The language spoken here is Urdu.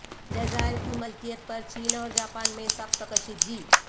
جزائر کی ملکیت پر چین اور جاپان میں سخت کشیدگی